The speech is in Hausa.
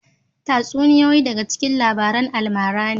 Tatsuniyoyi daga cikin labaran almara ne